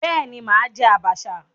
Bẹ́ẹ̀ ni, mà á jẹ́ àbàṣà.